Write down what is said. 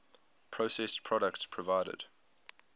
processed products provided